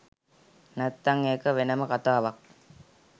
නැත්තං ඒක වෙනම කතාවක්